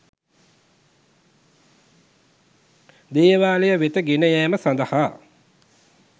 දේවාලය වෙත ගෙන යෑම සඳහා